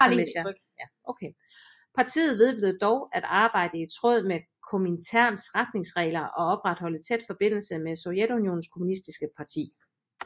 Partiet vedblev dog at arbejde i tråd med Kominterns retningslinjer og opretholdet tæt forbindelse med Sovjetunionens kommunistiske parti